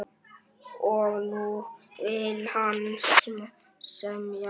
Og nú vill hann semja!